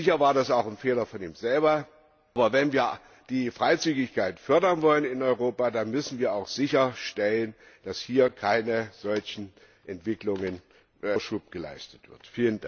Sicher war das auch ein Fehler von ihm selbst, aber wenn wir die Freizügigkeit fördern wollen in Europa, dann müssen wir auch sicherstellen, dass hier keinen solchen Entwicklungen Vorschub geleistet wird.